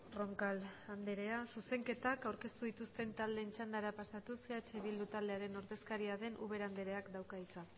roncal anderea zuzenketak aurkeztu dituzten taldeen txandara pasatuz eh bildu taldearen ordezkaria den ubera andereak dauka hitza